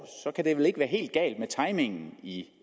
så kan det vel ikke være helt galt med timingen i